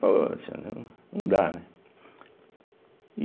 Poxa, né, não dá, né?